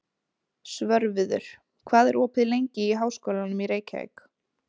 Svörfuður, hvað er opið lengi í Háskólanum í Reykjavík?